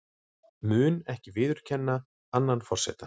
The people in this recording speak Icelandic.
Mun ekki viðurkenna annan forseta